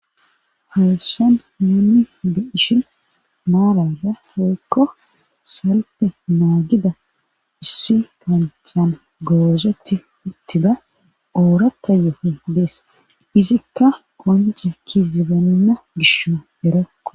hayssan nuunni be ishin maaraya poykko salpe naagida issi kancan goozeti uttida oorata yooho dees izikka qonce ki zibanna gisho erakko